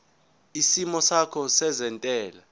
isimo sakho sezentela